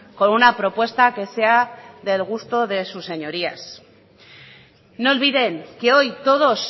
con una propuesta que sea del gusto de sus señorías no olviden que hoy todos